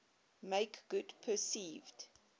make good perceived